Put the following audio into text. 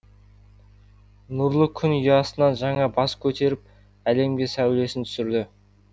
нұрлы күн ұясынан жаңа бас көтеріп әлемге сәулесін түсірді